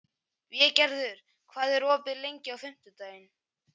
Végerður, hvað er opið lengi á fimmtudaginn?